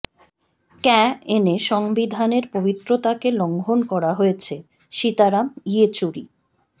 ক্যা এনে সংবিধানের পবিত্ৰতাকে লঙ্ঘন করা হয়েছেঃ সীতারাম ইয়েচুরি